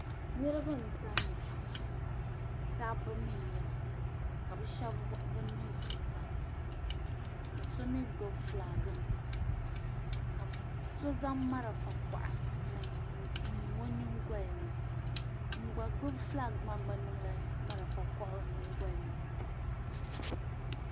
Niriba n-tamya dabba mi n-nyɛ ba ka bɛ shɛba wuɣi bɛ nuhi zuɣusaa ka so mi gbibi fulaaginima ka so zaŋ malifa kuɣa n-niŋ o nyiŋgoli ni. Ŋun gba gbibi fulaagi maa gba niŋla malifa kuɣa o nyiŋgoli ni.